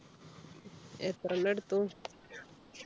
എത്ര എണ്ണം എടുത്തു